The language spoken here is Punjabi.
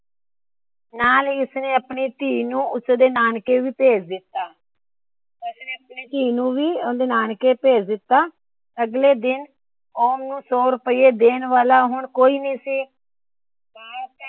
ਨਾਲ ਹੀ ਉਸਨੇ ਆਪਣੀ ਧੀ ਨੂੰ ਉਸਦੇ ਨਾਨਕੇ ਵੀ ਭੇਜ ਦਿੱਤਾ। ਆਪਣੀ ਧੀ ਨੂੰ ਉਸਦੇ ਨਾਨਕੇ ਵੀ ਭੇਜ ਦਿੱਤਾ। ਅੱਗਲੇ ਦਿਨ ਹੁਣ ਉਸ ਨੂੰ ਸੋ ਰੁਪਇਆ ਦੇਣ ਵਾਲਾ ਕੋਈ ਨਾਹੀ ਸੀ।